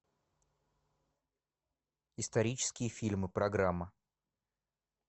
исторические фильмы программа